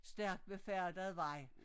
Stærkt befærdet vej